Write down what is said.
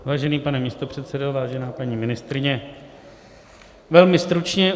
Vážený pane místopředsedo, vážená paní ministryně, velmi stručně.